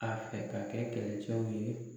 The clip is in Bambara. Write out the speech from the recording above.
A fɛ ka kɛ kɛlɛcɛw ye.